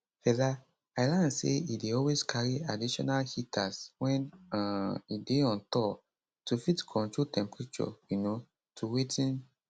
fela i learn say e dey always carry additional heaters wen um e dey on tour to fit control temperature um to wetin